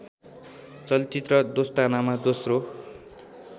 चलचित्र दोस्तानामा दोस्रो